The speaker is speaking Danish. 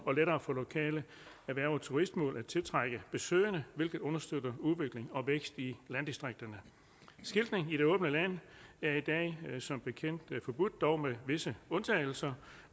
og lettere for lokale erhverv og turistmål at tiltrække besøgende hvilket understøtter udvikling og vækst i landdistrikterne skiltning i det åbne land er i dag som bekendt forbudt dog med visse undtagelser